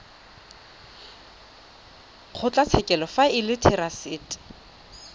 kgotlatshekelo fa e le therasete